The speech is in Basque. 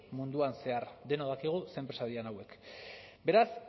munduan zehar denok dakigu ze enpresa diren hauek beraz